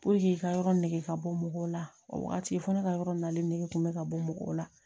i ka yɔrɔ nɛgɛ ka bɔ mɔgɔw la o wagati fo ne ka yɔrɔ nalen ne kun bɛ ka bɔ mɔgɔw la